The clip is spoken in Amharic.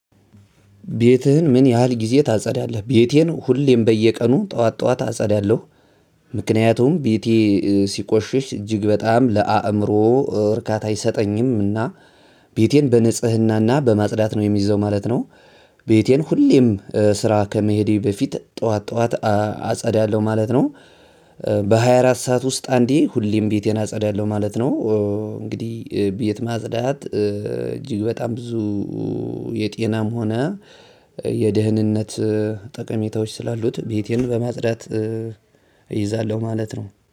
ቤትህን ምን ያህል ጊዜ ታጸዳለህ? ቤቴን ሁሌም በየቀኑ ጠዋት ጠዋት አጸዳለሁ። ምክንያቱም ቤቴ ሲቆሽሽ እጅግ በጣም ለአእምሮ እርካታ አይሰጠኝም። እና ቤቴን በንጽህናና በማጽዳት ነው የሚይዘው ማለት ነው። ቤቴን ሁሌም ስራ ከመሄዴ በፊት ጠዋት ጠዋት አጸዳለሁ ማለት ነው። በሃያ አራት ሰዓት ውስጥ አንዴ ሁሌም ቤቴን አጸዳለሁ ማለት ነው። እንግዲህ ቤት ማጽዳት እጅግ በጣም ብዙ የጤናም ሆነ የደህንነት ጠቀሜታዎች ስላሉት ቤቴን በማፅዳት እይዛለሁ ማለት ነው።